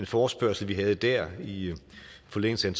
forespørgsel vi havde dér i forlængelse af